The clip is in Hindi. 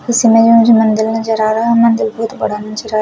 इस इमेज में मुझे मंदिर नजर आ रहा है मंदिर बहोत बड़ा नजर आ रहा--